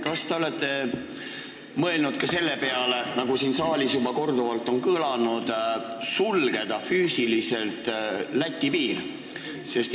Kas te olete mõelnud ka selle peale, nagu siin saalis juba korduvalt kõlanud on, et Eesti–Läti piir füüsiliselt sulgeda?